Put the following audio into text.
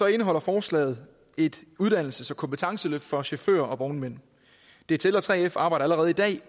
indeholder forslaget et uddannelses og kompetenceløft for chauffører og vognmænd dtl og 3f arbejder allerede i dag